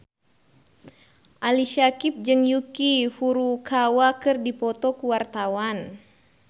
Ali Syakieb jeung Yuki Furukawa keur dipoto ku wartawan